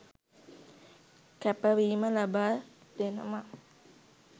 කැපවීම ලබාදෙනවා.